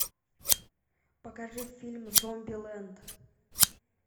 покажи фильм зомбилэнд